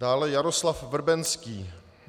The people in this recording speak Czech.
Dále Jaroslav Vrbenský.